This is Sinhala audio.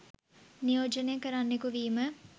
නියෝජනය කරන්නෙකු විම